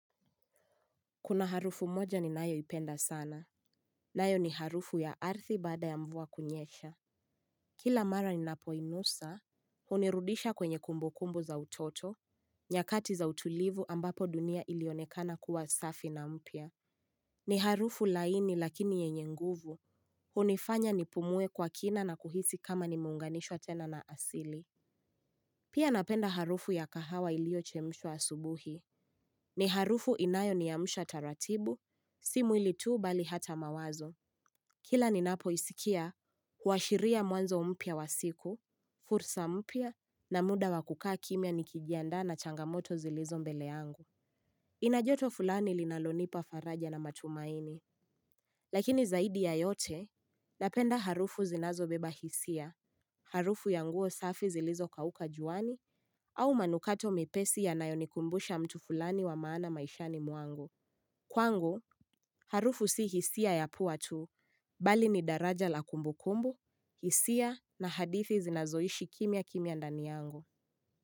Kuna harufu moja ni nayo ipenda sana. Nayo ni harufu ya arithi baada ya mvua kunyesha. Kila mara ni napoinusa. Hunirudisha kwenye kumbukumbu za utoto. Nyakati za utulivu ambapo dunia ilionekana kuwa safi na mpya. Ni harufu laini lakini yenye nguvu. Hunifanya nipumue kwa kina na kuhisi kama nimeunganishwa tena na asili. Pia napenda harufu ya kahawa ilio chemshwa asubuhi. Ni harufu inayo niamsha taratibu. Si mwili tu bali hata mawazo. Kila ninapo isikia huashiria mwanzo mpya wa siku. Fursa mpya na muda wakukaa kimya nikijandaa na changamoto zilizo mbele angu inajoto fulani linalonipa faraja na matumaini. Lakini zaidi ya yote napenda harufu zinazo beba hisia. Harufu ya nguo safi zilizo kauka juani au manukato mepesi yanayo nikumbusha mtu fulani wa maana maishani mwangu. Kwangu harufu si hisia ya pua tu, bali ni daraja la kumbu kumbu, hisia na hadithi zinazoishi kimya kimya ndani yangu.